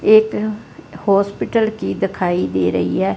एक हॉस्पिटल की दिखाई दे रही है।